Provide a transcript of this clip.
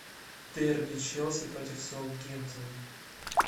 дерби челси против саутгемптона